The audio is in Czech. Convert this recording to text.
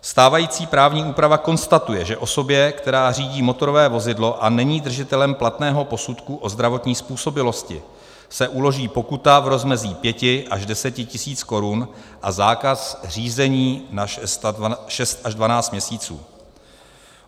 Stávající právní úprava konstatuje, že osobě, která řídí motorové vozidlo a není držitelem platného posudku o zdravotní způsobilosti, se uloží pokuta v rozmezí 5 až 10 tisíc korun a zákaz řízení na 6 až 12 měsíců.